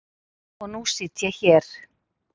Og nú hér.